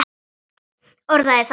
Orðaði það þannig.